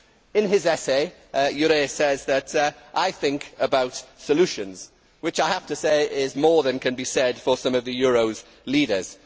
In his essay, Jurre says I think about solutions' which I have to say is more can be said for some of the euro's leaders.